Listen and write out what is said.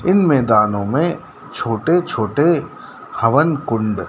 इन मैदानो में छोटे छोटे हवन कुंड--